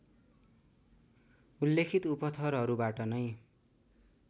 उल्लेखित उपथरहरूबाट नै